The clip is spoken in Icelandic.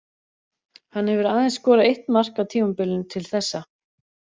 Hann hefur aðeins skorað eitt mark á tímabilinu til þessa.